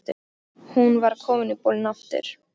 Hún var komin í bolinn aftur.